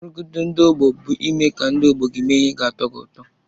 Nrụgide ndị ọgbọ bụ ime ka ndị ọgbọ gị mee ihe ga-atọ gị ụtọ.